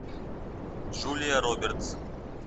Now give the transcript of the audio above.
джулия робертс